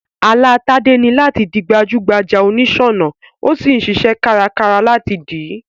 Àlá Tádé ni làti di gbajú gbajà onìsònà, o sí n siṣẹ́ kárakára láti dìí